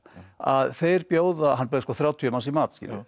að þeir bjóða hann bauð sko þrjátíu manns í mat